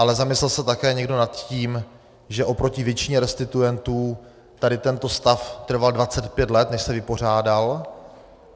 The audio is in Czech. Ale zamyslel se také někdo nad tím, že oproti většině restituentů tady tento stav trval 25 let, než se vypořádal?